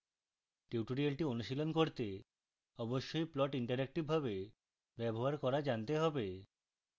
tutorial অনুশীলন করতে অবশ্যই প্লট ইন্টারেক্টিভভাবে ব্যবহার করা জানতে হবে